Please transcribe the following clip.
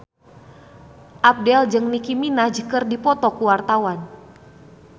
Abdel jeung Nicky Minaj keur dipoto ku wartawan